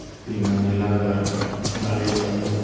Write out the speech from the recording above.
तीन मंजिला घर हो गाड़ी लगल हो।